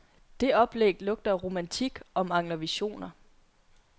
Det oplæg lugter af romantik og mangler visioner.